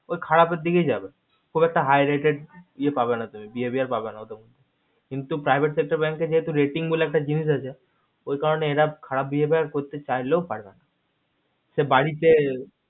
ওই খারাপের দিকেই যাবে খুব একটা high rated ইয়ে পাবে না তুমি behavio পাবেনা কিন্তু private sector bank এ যেহেতু rating বলে একটা জিনিস আছে ওই কারণে এরা খারাপ behavio করতে চাইলেও পারেনা সে বাড়িতে